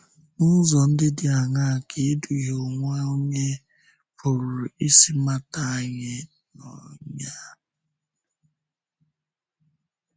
N’ụzọ ndị dị áńàá ka ịdùhie onwe onye pụrụ isi mata anyị n’ọnyà?